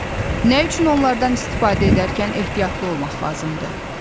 Nə üçün onlardan istifadə edərkən ehtiyatlı olmaq lazımdır?